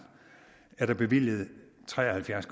er der bevilget tre og halvfjerds